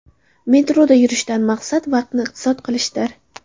Metroda yurishdan maqsad vaqtni iqtisod qilishdir.